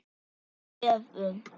Hvað gefur jógað þér?